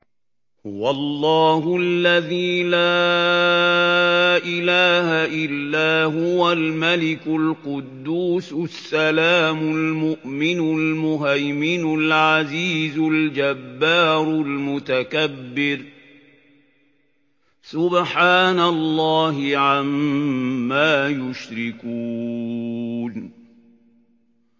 هُوَ اللَّهُ الَّذِي لَا إِلَٰهَ إِلَّا هُوَ الْمَلِكُ الْقُدُّوسُ السَّلَامُ الْمُؤْمِنُ الْمُهَيْمِنُ الْعَزِيزُ الْجَبَّارُ الْمُتَكَبِّرُ ۚ سُبْحَانَ اللَّهِ عَمَّا يُشْرِكُونَ